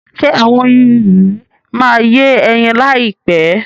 Ṣe àwọn oyin yìí máa yé ẹyin láyìpẹ́?